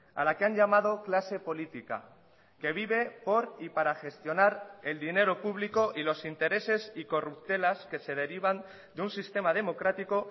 a la que han llamado clase política que vive por y para gestionar el dinero público y los intereses y corruptelas que se derivan de un sistema democrático